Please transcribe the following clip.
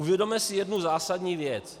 Uvědomme si jednu zásadní věc.